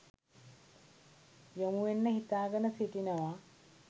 යොමුවෙන්න හිතාගෙන සිටිනවා